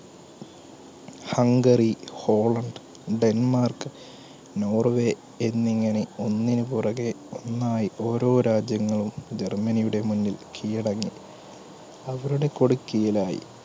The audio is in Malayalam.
ഹംഗറി, ഹോളണ്ട്, ഡെൻമാർക്, നോർവേ എന്നിങ്ങനെ ഒന്നിന് പുറകെ ഒന്നായി ഓരോ രാജ്യങ്ങളും ജർമ്മനിയുടെ മുന്നിൽ കീഴടങ്ങി. അവരുടെ കുട കീഴിലായി.